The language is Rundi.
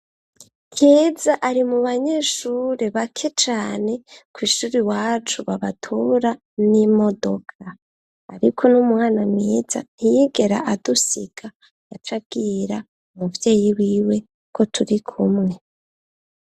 Keza ari mu banyeshuri bake cane kw'ishuri wacu babatura n'imodoka, ariko n'umwana mwiza ntiyigera adusiga yacagira umuvyeyi wiwe ko turi kumwe.